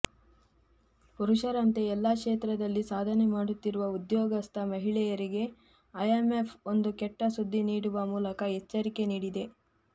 ಪುರಷರಂತೆ ಎಲ್ಲ ಕ್ಷೇತ್ರದಲ್ಲಿ ಸಾಧನೆ ಮಾಡುತ್ತಿರುವ ಉದ್ಯೋಗಸ್ಥ ಮಹಿಳೆಯರಿಗೆ ಐಎಂಎಫ್ ಒಂದು ಕೆಟ್ಟ ಸುದ್ದಿ ನೀಡುವ ಮೂಲಕ ಎಚ್ಚರಿಕೆ ನೀಡಿದೆ